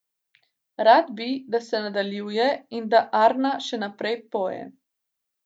Rad bi, da se nadaljuje in da Arna še naprej poje.